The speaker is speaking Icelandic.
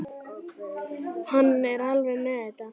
Hann er alveg með þetta.